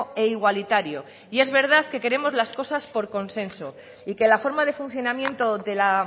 e igualitario y es verdad que queremos las cosas por consenso y que la forma de funcionamiento de la